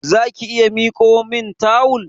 Zaki iya mikomin tawul?